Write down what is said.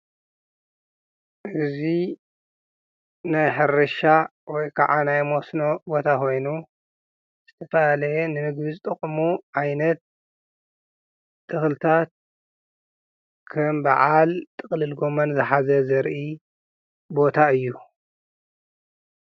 እዚ ናይ ሕርሻ ወይ ከዓ ናይ መስኖ ቦታ ኮይኑ ዝተፈላለየ ንምግቢ ዝጠቅሙ ዓይነት ተኽሊታት ከም በዓል ጥቅልል ጎመን ዝሓዘ ዘርኢ ቦታ እዩ።